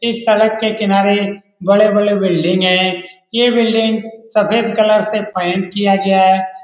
इस सड़क के कनारे बड़े-बड़े बिल्डिंग हैं ये बिल्डिंग सफ़ेद कलर से पैंट किया गया है।